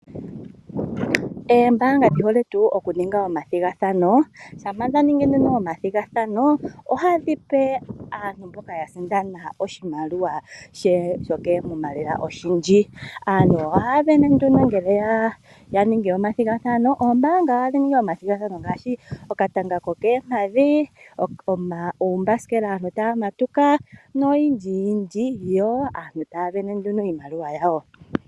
Oombaanga dhi hole tuu okuninga omathigathano. Shampa dha ningi omathigathano ohadhi pe aantu mboka ya sindana oshimaliwa koomuma oshindji. Aantu ohaya sindana nduno shampa ya ningi omathigathano. Oombaanga ohadhi ningi omathigathano ngaashi: okatanga kokoompadhi, uumbasikela, aantu taya matuka noyindjiyindji, yo aantu taya sindana nduno iimaliwa yawo.